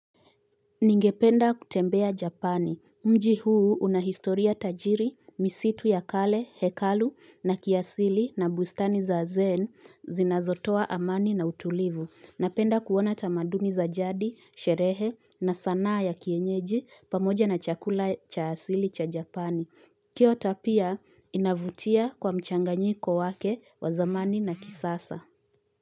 Ningependa kutembea Japan. Mji huu una historia tajiri, misitu ya kale, hekalu na kiasili na bustani za zen zinazotoa amani na utulivu. Napenda kuona tamadumi za jadi, sherehe na sanaa ya kienyeji pamoja na chakula cha asili cha Japan. Hiyo tabia inavutia kwa mchanganyiko wake wa zamani na kisasa.